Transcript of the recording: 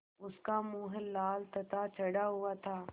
उसका मुँह लाल तथा चढ़ा हुआ था